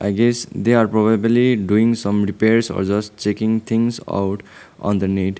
this they are probably doing some repairs or just checking things out on the net.